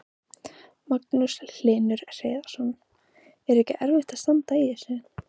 Magnús Hlynur Hreiðarsson: Er ekki erfitt að standa í þessu?